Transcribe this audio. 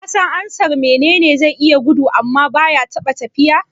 Kasan ansar "Mene ne zai iya gudu amma baya taɓa tafiya"?